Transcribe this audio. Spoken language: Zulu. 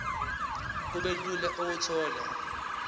kube lula ukuthola